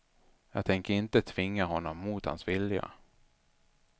Jag tänker inte tvinga honom mot hans vilja.